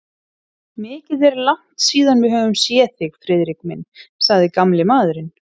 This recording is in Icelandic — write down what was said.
Mikið er langt síðan við höfum séð þig, Friðrik minn sagði gamli maðurinn.